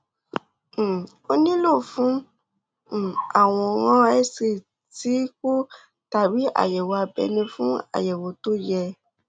um o nílò um àwòrán xray ti kub tàbí àyẹwò abẹnú fún àyẹwò tó um yẹ